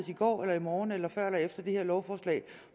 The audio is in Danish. i går eller i morgen eller før eller efter det her lovforslag